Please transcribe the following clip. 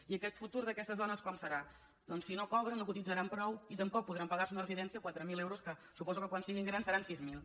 i aquest futur d’aquestes dones com serà doncs si no cobren no cotitzaran prou i tampoc podran pagar se una residència de quatre mil euros que suposo que quan siguin grans seran sis mil